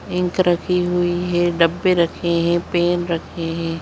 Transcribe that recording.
Ink रखी हुई है डब्बे रखे है पेन रखे है।